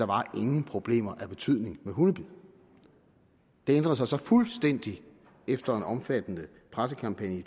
var nogen problemer af betydning med hundebid det ændrede sig så fuldstændig efter en omfattende pressekampagne i